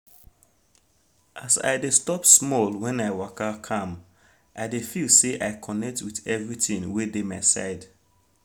as i de stop small when i waka calm i dey feel say i connect with everything wey dey my side